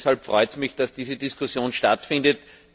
Deshalb freut es mich, dass diese Diskussion stattfindet.